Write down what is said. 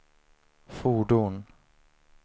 fordon